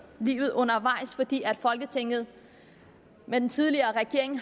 livet undervejs fordi folketinget med den tidligere regering